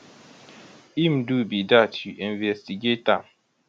im do be dat u investigate am